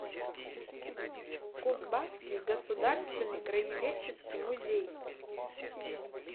кузбасский государственный краеведческий музей